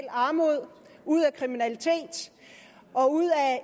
armod ud af kriminalitet og ud af